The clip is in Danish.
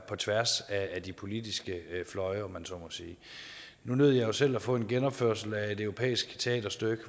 på tværs af de politiske fløje om man så må sige nu nød jeg selv at få en genopførelse af et europæisk teaterstykke